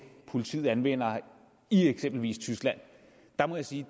politiet anvender i eksempelvis tyskland må jeg sige